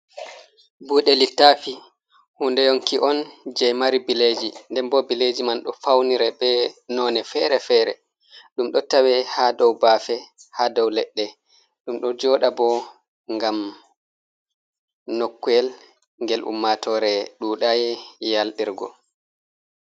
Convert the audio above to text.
Bude littafi, huunde yonki on jey mari bileeji nden boo bileeji man ɗo fawniri bee noone feere-feere ɗum ɗo tawe haa dow baafe haa dow leɗɗe ɗum ɗo jooɗa boo ngam nokkuyel ngel ummaatoore ɗuuɗaayi yalɗirgo